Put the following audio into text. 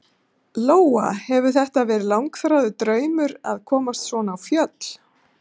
Lóa: Hefur þetta verið langþráður draumur að komast svona á fjöll?